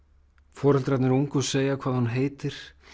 foreldrarnir ungu segja hvað hún heitir